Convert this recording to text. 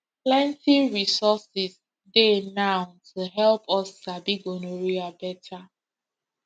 plenty resources dey now to help us sabi gonorrhea better